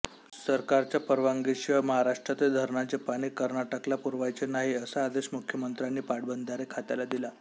सरकारच्या परवानगीशिवाय महाराष्ट्रातील धरणांचे पाणी कर्नाटकला पुरवायचे नाही असा आदेश मुख्यमंत्र्यांनी पाटबंधारे खात्याला दिला